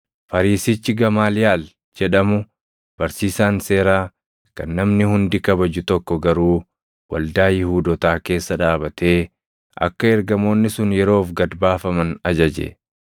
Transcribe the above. Fariisichi Gamaaliyaal jedhamu, barsiisaan seeraa kan namni hundi kabaju tokko garuu waldaa Yihuudootaa keessa dhaabatee akka ergamoonni sun yeroof gad baafaman ajaje.